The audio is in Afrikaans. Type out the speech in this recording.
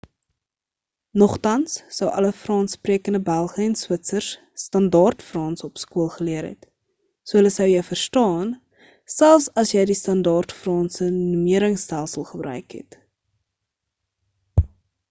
nogtans sou alle frans-sprekende belge en switsers standaard frans op skool geleer het so hulle sou jou verstaan selfs as jy die standaard franse numeringstelsel gebruik het